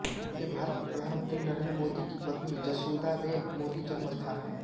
ये भारत के प्रधानमंत्री नरेन्द्र मोदी की पत्नी जसोदाबेन मोदी जन्म स्थान है